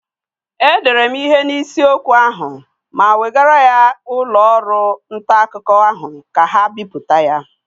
E dere mụ ihe n'isi okwu ahụ ma wegara ya n'ụlọ ọrụ nta akwụkwọ ahụ ka ga bipụta ya.